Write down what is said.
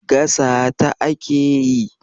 Gasata ake yi.